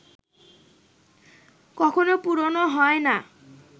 কখনো পুরোনো হয় না